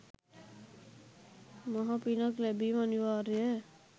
මහ පිනක් ලැබීම අනිවාර්යය.